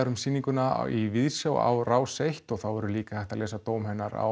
um sýninguna í Víðsjá á Rás eins og þá verður líka hægt að lesa dóm hennar á